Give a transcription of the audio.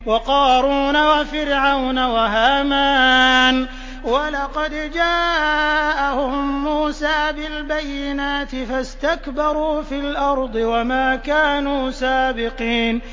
وَقَارُونَ وَفِرْعَوْنَ وَهَامَانَ ۖ وَلَقَدْ جَاءَهُم مُّوسَىٰ بِالْبَيِّنَاتِ فَاسْتَكْبَرُوا فِي الْأَرْضِ وَمَا كَانُوا سَابِقِينَ